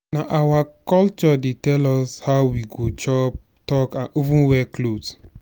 nah our culture dey tell us how we go chop talk and even wear cloth.